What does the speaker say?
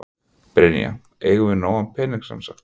Brynja: Eigum við nógan pening sem sagt?